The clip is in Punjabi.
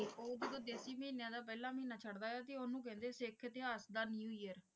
ਉਹ ਜਦੋਂ ਦੇਸੀ ਮਹੀਨੇ ਦਾ ਪਹਿਲੇ ਮਹੀਨਾ ਚੜ੍ਹਦਾ ਹੈ ਤੇ ਓਹਨੂੰ ਕਹਿੰਦੇ ਹੈ ਸਿੱਖ ਇਤਿਹਾਸ ਦਾ ਨਿਊ ਈਅਰ।